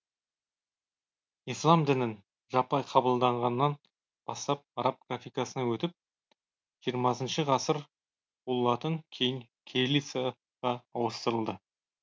ислам дінін жаппай қабылдағаннан бастап араб графикасына өтіп жиырмасыншы ғасыр ол латын кейін кириллицаға ауыстырылды